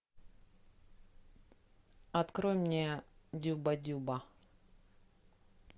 открой мне дюба дюба